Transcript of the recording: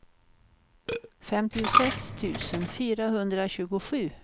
femtiosex tusen fyrahundratjugosju